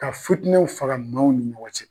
Ka futinɛw faga maaw ni ɲɔgɔn cɛ.